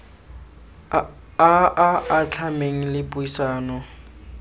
a a atlhameng le puisano